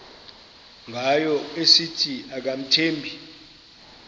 ngayo esithi akamthembi